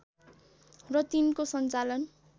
र तिनको सञ्चालन